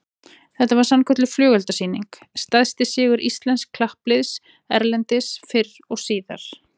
Þetta var sannkölluð flugeldasýning, stærsti sigur íslensks kappliðs erlendis fyrr og síðar